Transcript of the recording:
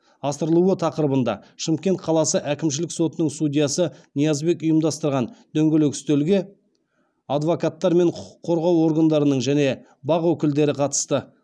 асырылуы тақырыбында шымкент қаласы әкімшілік сотының судьясы ниязбек ұйымдастырған дөңгелек үстелге адвокаттар мен құқық қорғау органдарының және бақ өкілдері қатысты